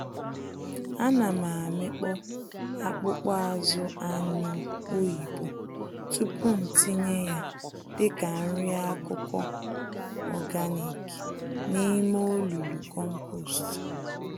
Ánám amịkpọ akpụkpọ-azụ anyụ oyibo tupu ntinye ya dịka nri-akụkụ ọganik n'ime olulu kompost